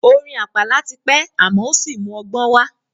Orin àpàlà ti pẹ́ àmọ́ ò sí mú ọgbọ́n wá.